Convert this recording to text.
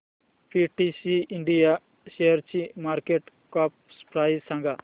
PTC India शेअरची market cap price सांगा